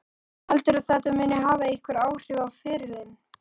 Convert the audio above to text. Heldurðu að þetta muni hafa einhver áhrif á ferilinn?